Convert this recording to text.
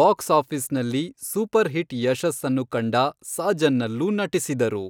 Box ಆಫಿಸ್ನಲ್ಲಿ superhit ಯಶಸ್ಸನ್ನು ಕಂಡ ಸಾಜನ್ ನಲ್ಲೂ ನಟಿಸಿದರು.